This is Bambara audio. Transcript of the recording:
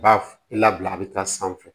Ba labila a bɛ taa sanfɛ